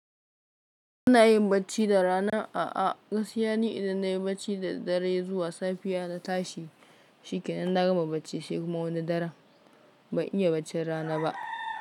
Ina yin bacci da rana? A'a, gaskiya ni idan nayi bacci darad dare zuwa safiya na tashi, shi kenan na gama bacci sai kuma wani dare. Ban iya baccin rana ba.